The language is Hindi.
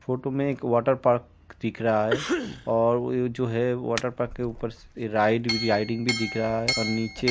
फोटो में एक वाटरपार्क दिख रहा है और वो जो है वाटरपार्क के ऊपर से राइड राइडिंग भी दिख रहा है और नीचे --